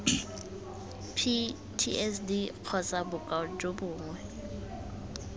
ptsd kgotsa bokoa jo bongwe